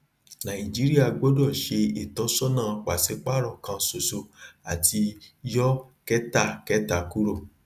nàìjíríà gbọdọ ṣe ìtọsọnà paṣípààrọ kan ṣoṣo àti yọ kẹtakẹta kuro